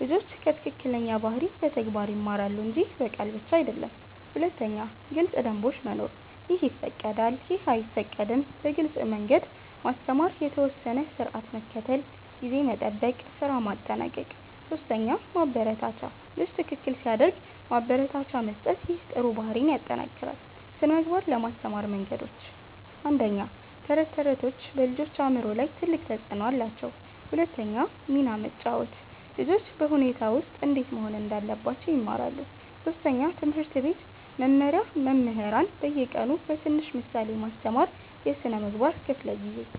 ልጆች ከትክክለኛ ባህሪ በተግባር ይማራሉ እንጂ በቃል ብቻ አይደለም 2. ግልጽ ደንቦች መኖር “ይህ ይፈቀዳል / ይህ አይፈቀድም” በግልጽ መንገድ ማስተማር የተወሰነ ስርዓት መከተል (ጊዜ መጠበቅ፣ ስራ ማጠናቀቅ 3 ማበረታቻ ልጅ ትክክል ሲያደርግ ማበረታቻ መስጠት ይህ ጥሩ ባህሪን ይጠናክራል 2) ስነ ምግባር ለማስተማር መንገዶች 1. ተረቶች ተረቶች በልጆች አእምሮ ላይ ትልቅ ተፅዕኖ አላቸው 2 ሚና መጫወት ልጆች በሁኔታ ውስጥ እንዴት መሆን እንዳለባቸው ይማራሉ 3. ትምህርት ቤት መመሪያ መምህራን በየቀኑ በትንሽ ምሳሌ ማስተማር የስነ ምግባር ክፍለ ጊዜ